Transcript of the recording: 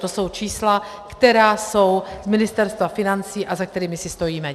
To jsou čísla, která jsou z Ministerstva financí a za kterými si stojíme.